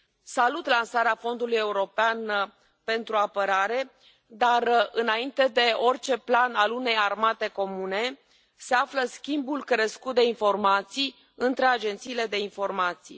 Salut lansarea Fondului european pentru apărare, dar, înainte de orice plan al unei armate comune, se află schimbul crescut de informații între agențiile de informații.